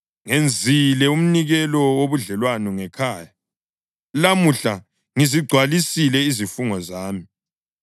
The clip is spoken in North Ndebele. “Ngenzile umnikelo wobudlelwano ngekhaya; lamuhla ngizigcwalisile izifungo zami.